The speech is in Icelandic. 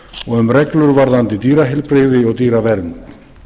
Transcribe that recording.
og um reglur varðandi dýraheilbrigði og dýravernd